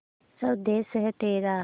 स्वदेस है तेरा